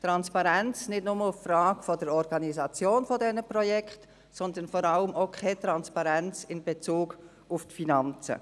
Transparenz nicht nur in Bezug auf die Frage der Organisation dieser Projekte, sondern vor allem auch keine Transparenz in Bezug auf die Finanzen.